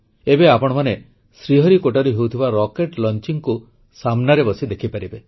ଏବେ ଆପଣମାନେ ଶ୍ରୀହରିକୋଟାରୁ ହେଉଥିବା ରକେଟ୍ ଲଂଚିଙ୍ଗକୁ ସାମ୍ନାରେ ବସି ଦେଖିପାରିବେ